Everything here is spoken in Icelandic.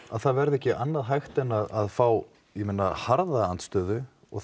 að það verði ekki annað hægt en að fá harða andstöðu og